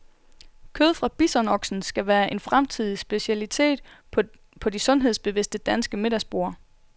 Kød fra bisonoksen skal være en fremtidig specialitet på de sundhedsbevidste danske middagsborde.